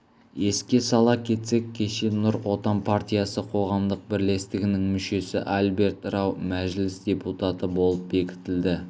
еске сала кетсек кеше нұр отан партиясы қоғамдық бірлестігінің мүшесі альберт рау мәжіліс депутаты болып бекітілді